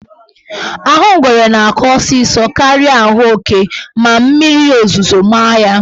Ahụ ngwere na-akọ ọsịsọ karịa ahụ oke ma mmiri ozuzo maa ya.